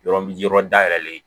Yɔrɔ yɔrɔ dayɛlɛlen